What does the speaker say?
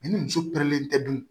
Ni muso len tɛ dun